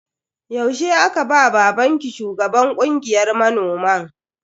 Yaushe aka ba babanki shugaban kungiyar manoman?